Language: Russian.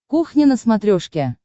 кухня на смотрешке